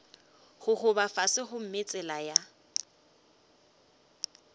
gogoba fase gomme tsela ya